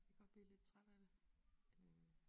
Kan godt blive lidt træt af det øh